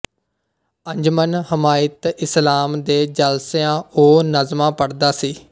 ਅੰਜਮਨ ਹਿਮਾਇਤ ਇਸਲਾਮ ਦੇ ਜਲਸਿਆਂ ਉਹ ਨਜ਼ਮਾਂ ਪੜ੍ਹਦਾ ਸੀ